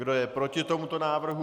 Kdo je proti tomuto návrhu?